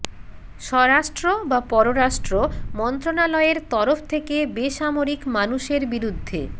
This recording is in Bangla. স্বরাষ্ট্র বা পররাষ্ট্র মন্ত্রণালয়ের তরফ থেকে বেসামরিক মানুষের বিরুদ্ধে